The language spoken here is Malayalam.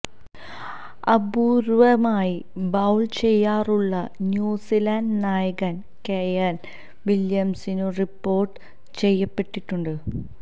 അപൂര്വമായി ബൌള് ചെയ്യാറുള്ള ന്യൂസിലാന്റ് നായകന് കെയ്ന് വില്യംസനും റിപ്പോര്ട്ട് ചെയ്യപ്പെട്ടിട്ടുണ്ട്